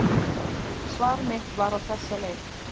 Svar mitt var á þessa leið: